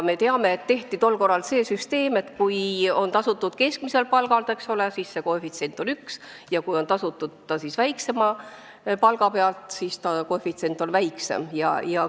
Me teame, et tol korral kehtestati see süsteem, et kui sotsiaalmaksu on tasutud keskmiselt palgalt, siis see koefitsient on 1, ja kui see on tasutud väiksema palga pealt, siis koefitsient on väiksem.